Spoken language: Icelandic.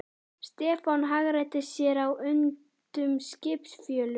Stefán hagræddi sér á undnum skipsfjölunum.